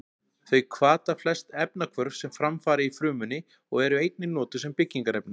Þau hvata flest efnahvörf sem fram fara í frumunni og eru einnig notuð sem byggingarefni.